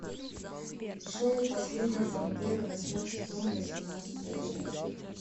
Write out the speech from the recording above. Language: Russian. шоу последние пантеры восьмой сезон восемнадцатая часть